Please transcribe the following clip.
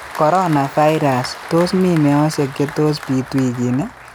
Coronavirus : Tos mii meosyek che tos biit wikini?